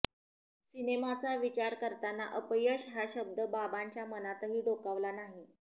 सिनेमाचा विचार करताना अपयश हा शब्द बाबांच्या मनातही डोकावला नाही